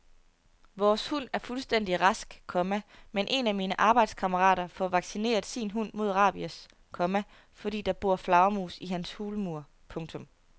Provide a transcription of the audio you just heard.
Vores hund er fuldstændig rask, komma men en af mine arbejdskammerater får vaccineret sin hund mod rabies, komma fordi der bor flagermus i hans hulmur. punktum